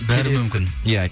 бәрі мүмкін иә